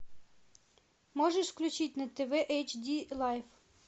можешь включить на тв эйч ди лайф